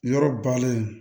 Yɔrɔ balen